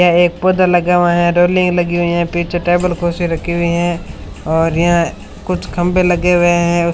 यह एक पौधा लगा हुआ है रेलिंग लगी हुई है पीछे टेबल कुर्सी रखी हुई है और यहां कुछ खंबे लगे हुए हैं।